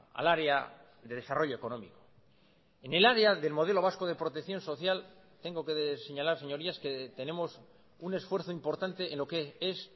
al área de desarrollo económico en el área del modelo vasco de protección social tengo que señalar señorías que tenemos un esfuerzo importante en lo que es